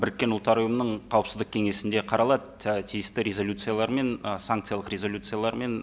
біріккен ұлттар ұйымының қауіпсіздік кеңесінде қаралады і тиісті резолюциялармен ы санкциялық резолюциялармен